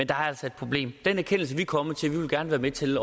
der er altså et problem den erkendelse er vi kommet til vi vil gerne være med til